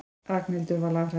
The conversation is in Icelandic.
Ragnhildur var lafhrædd.